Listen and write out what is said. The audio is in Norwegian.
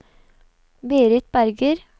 Berit Berger